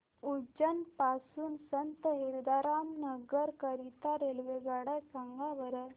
उज्जैन पासून संत हिरदाराम नगर करीता रेल्वेगाड्या सांगा बरं